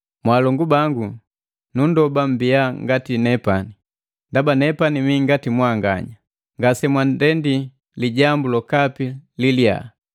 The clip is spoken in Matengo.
Mwaalongu bangu, nundoba mmbia ngati nepani, ndaba nepani mii ngati mwanganya. Ngasemwandendi lijambu lokapi li liyaa.